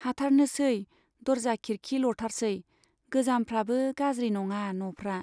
हाथारनोसै , दरजा खिरखी लथारसै गोजामफ्राबो गाज्रि नङा न'फ्रा।